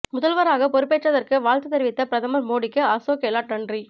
முதல்வராக பொறுப்பேற்றதற்கு வாழ்த்து தெரிவித்த பிரதமர் மோடிக்கு அசோக் கெலாட் நன்றி